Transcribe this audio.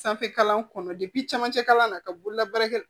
Sanfɛ kalan kɔnɔ camancɛ kalan na ka bolola baara kɛ